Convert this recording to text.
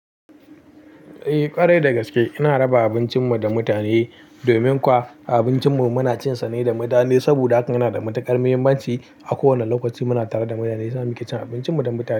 Eh ƙwarai da gaske. Ina raba abincin mu da mutane domin kwa, abincin mu muna cin sa ne da mutane saboda haka yana da matuƙar muhimmanci, a kowane lokaci muna tare da mutane yasa muke cin abincin mu da mutane.